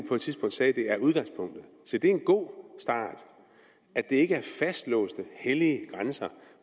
på et tidspunkt sagde at det er udgangspunktet se det er en god start at det ikke er fastlåste hellige grænser